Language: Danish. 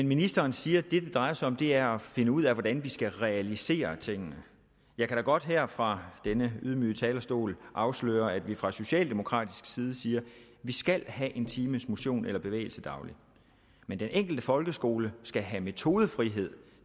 ministeren siger at det det drejer sig om er at finde ud af hvordan vi skal realisere tingene jeg kan da godt her fra denne ydmyge talerstol afsløre at vi fra socialdemokratisk side siger at vi skal have en times motion eller bevægelse dagligt men den enkelte folkeskole skal have metodefrihed